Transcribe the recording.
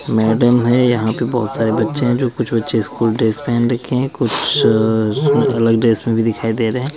Madam हैं यहाँ पे बहुत सारे बच्चे हैं जो कुछ बच्चे स्कूल ड्रेस पहन रखे है कुछ अ- अलग ड्रेस में भी दिखाई दे रहे हैं।